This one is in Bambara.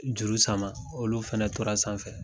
Juru sama, olu fɛnɛ tora sanfɛ.